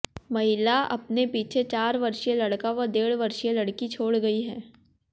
महिला अपने पीछे चार वर्षीय लड़का व डेढ़ वर्षीय लड़की छोड़ गई है